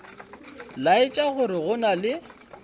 laetša gore go na le